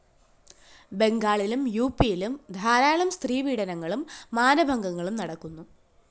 ബംഗാളിലും യുപിയിലും ധാരാളം സ്ത്രീപീഡനങ്ങളും മാനഭംഗങ്ങളും നടക്കുന്നു